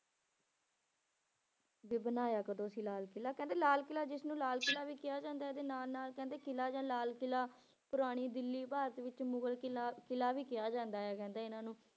ਵੀ ਬਣਾਇਆ ਕਦੋਂ ਸੀ ਲਾਲ ਕਿਲ੍ਹਾ ਕਹਿੰਦੇ ਲਾਲ ਕਿਲ੍ਹਾ ਜਿਸਨੂੰ ਲਾਲ ਕਿਲ੍ਹਾ ਵੀ ਕਿਹਾ ਜਾਂਦਾ ਇਹਦੇ ਨਾਲ ਨਾਲ ਕਹਿੰਦੇ ਕਿਲ੍ਹਾ ਜਾਂ ਲਾਲ ਕਿਲ੍ਹਾ ਪੁਰਾਣੀ ਦਿੱਲੀ ਭਾਰਤ ਵਿੱਚ ਮੁਗਲ ਕਿਲ੍ਹਾ ਕਿਲ੍ਹਾ ਵੀ ਕਿਹਾ ਜਾਂਦਾ ਕਹਿੰਦੇ ਇਹਨਾਂ ਨੂੰ